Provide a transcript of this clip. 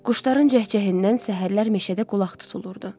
Quşların cəhcəhərindən səhərlər meşədə qulaq tutulurdu.